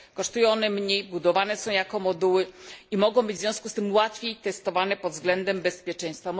Kosztują one mniej, budowane są jako moduły i mogą być w związku z tym łatwiej testowane pod względem bezpieczeństwa.